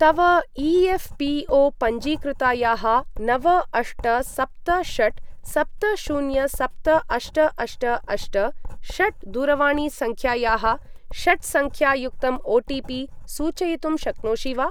तव ई.एफ़्.पी.ओ.पञ्जीकृतायाः नव अष्ट सप्त षट् सप्त शून्य सप्त अष्ट अष्ट अष्ट षट् दूरवाणीसङ्ख्यायाः षट्सङ्ख्यायुक्तम् ओटीपी सूचयितुं शक्नोषि वा?